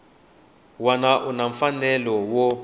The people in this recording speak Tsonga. wana u na mfanelo wo